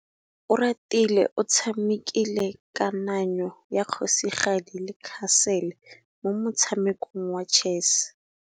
Oratile o tshamekile kananyô ya kgosigadi le khasêlê mo motshamekong wa chess.